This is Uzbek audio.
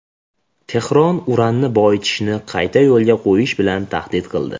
Tehron uranni boyitishni qayta yo‘lga qo‘yish bilan tahdid qildi.